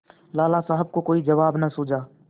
लाला साहब को कोई जवाब न सूझा